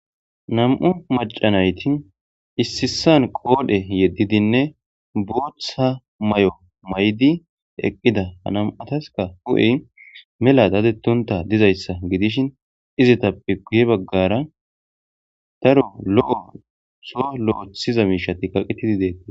nam7u macanayti issisan qoodhe yeddidinne booththa may7o maydi eqqida anam7ataska hu7ey mela daadettunta dizayssa gidishin izitappe guye baggara daro lo7o so lo7ethiza miishatti kaqetidi deeti